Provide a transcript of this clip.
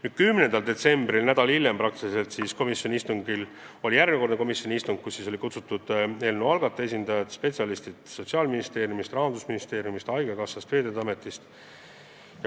Nüüd, 10. detsembril ehk nädal hiljem oli järjekordne komisjoni istung, kuhu oli kutsutud eelnõu algataja esindajad ja spetsialistid Sotsiaalministeeriumist, Rahandusministeeriumist, haigekassast ja Veeteede Ametist.